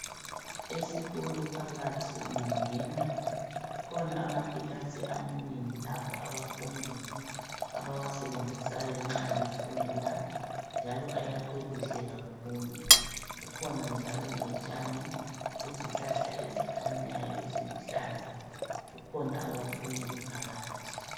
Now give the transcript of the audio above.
Esikolo phakathi ungangena, kukhona amakilasi amanengi lapho abafundi abawasebenzisayo nxa befunda njalo ayakhwe kuhle kakhulu. Kukhona njalo lotshani lezihlahla ezikhanyayo eziluhlaza kukhona abafundi phakathi.